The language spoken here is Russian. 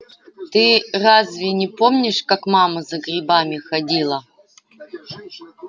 ты разве не помнишь как мама за грибами ходила